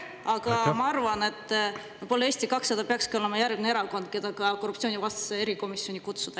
Ma arvan, et võib-olla Eesti 200 peakski olema järgmine erakond, kes tuleks korruptsioonivastasesse erikomisjoni kutsuda.